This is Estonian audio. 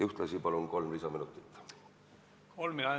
Ühtlasi palun kolm lisaminutit!